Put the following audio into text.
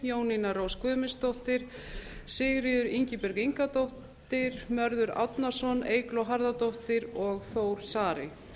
jónína rós guðmundsdóttir sigríður ingibjörg ingadóttir mörður árnason eygló harðardóttir og þór saari